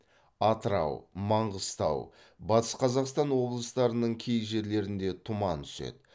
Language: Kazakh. атырау маңғыстау батыс қазақстан облыстарының кей жерлерінде тұман түседі